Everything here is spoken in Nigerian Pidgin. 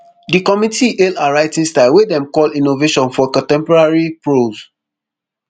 di committee hail her writing style wey dem call innovation for contemporary prose